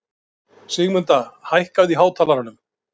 Sigmunda, hækkaðu í hátalaranum.